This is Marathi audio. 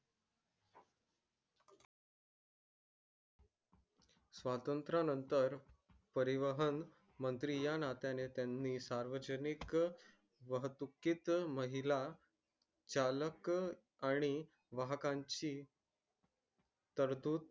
स्वत्र नंतर परिवर्तन स्त्री नतन नी सर्व जानिक वहा तुकित महिला चालक आणि वाहनांची करतच